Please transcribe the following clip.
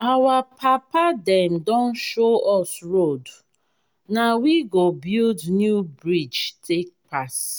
our papa dem don show us road na we go build new bridge take pass.